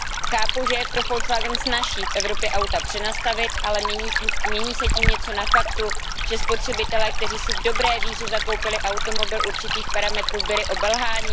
Chápu, že je pro Volkswagen snazší v Evropě auta přenastavit, ale mění se tím něco na faktu, že spotřebitelé, kteří si v dobré víře zakoupili automobil určitých parametrů, byli obelháni?